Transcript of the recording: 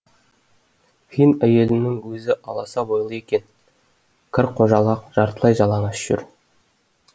фин әйелінің өзі аласа бойлы екен кір қожалақ жартылай жалаңаш жүр